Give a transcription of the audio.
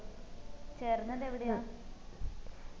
ചേർന്നത് എവിടെയാ